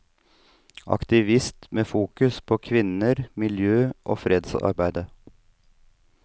Aktivist med fokus på kvinner, miljø og fredsarbeid.